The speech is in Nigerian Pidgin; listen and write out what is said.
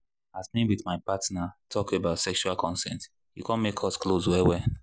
as me with my partner talk about sexual consent e come make us close well well